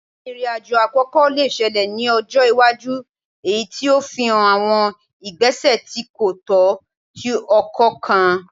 Irin-ajo akoko le ṣẹlẹ ni ọjọ iwaju eyiti o fihan awọn igbesẹ ti ko tọ ti ọkọ kan